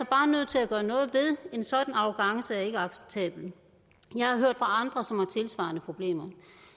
bare nødt til at gøre noget ved en sådan arrogance er ikke acceptabel jeg har hørt fra andre som har tilsvarende problemer